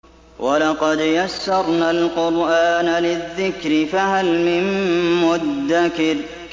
وَلَقَدْ يَسَّرْنَا الْقُرْآنَ لِلذِّكْرِ فَهَلْ مِن مُّدَّكِرٍ